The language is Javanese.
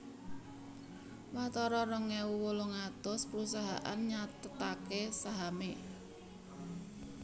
Watara rong ewu wolung atus prusahaan nyathetaké sahamé